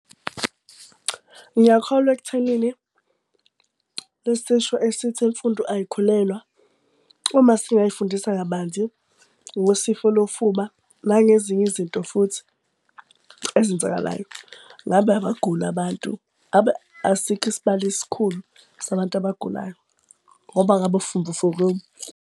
Ngiyakholwa ekuthenini lesisho esithi imfundo ayikhulelwa, uma singayifundisa kabanzi ngosifo lofuba nangezinye izinto futhi ezenzakalayo, ngabe abaguli abantu. Asikho isibalo esikhulu sabantu abagulayo. Ngoba ngabe sifundisekile.